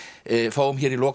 fáum hér í lok